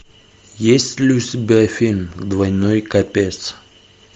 есть ли у тебя фильм двойной копец